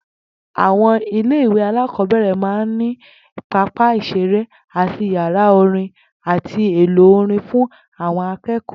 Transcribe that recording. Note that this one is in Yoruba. Àwo̩n ilé ìwé alákò̩ó̩bè̩rè̩ máa ń ní pápá ìs̩eré àti yàrá orin àti èlò orin fún àwo̩n aké̩kò̩ó̩